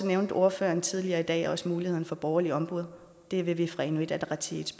nævnte ordføreren tidligere i dag også muligheden for borgerligt ombud og det vil vi fra inuit ataqatigiits